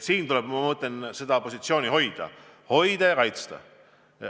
Siin tuleb seda positsiooni hoida ja kaitsta.